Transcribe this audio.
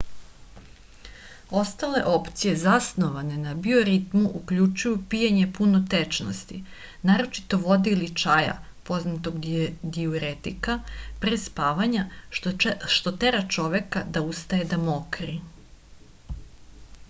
остале опције засноване на биоритму укључују пијење пуно течности нарочито воде или чаја познатог диуретика пре спавања што тера човека да устаје да мокри